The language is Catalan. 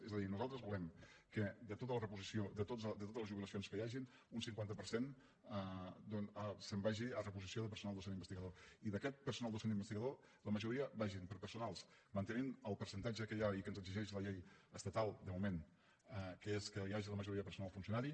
és a dir nosaltres volem que de tota la reposició de totes les jubilacions que hi hagin un cinquanta per cent se’n vagi a reposició de personal docent investigador i d’aquest personal docent investigador la majoria vagin per a personal mantenint el percentatge que hi ha i que ens exigeix la llei estatal de moment que és que hi hagi la majoria de personal funcionari